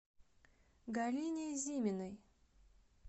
галине зиминой